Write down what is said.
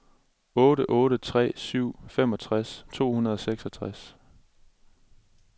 otte otte tre syv femogtres to hundrede og seksogtres